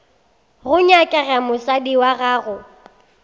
go nyakega mosadi wa gago